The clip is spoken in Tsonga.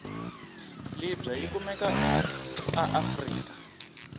libya yikumeka aafrika